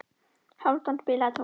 Hálfdan, spilaðu tónlist.